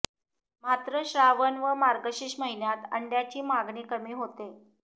मात्र श्रावण व मार्गशीर्ष महिन्यात अंडय़ांची मागणी कमी होते